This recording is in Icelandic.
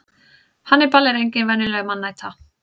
hannibal er engin venjuleg mannæta